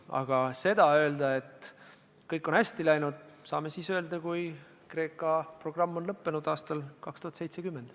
Aga seda, et kõik on hästi läinud, saame öelda siis, kui Kreeka programm on lõppenud aastal 2070.